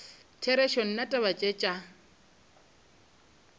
therešo nna taba tše tša